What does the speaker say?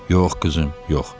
Yox qızım, yox.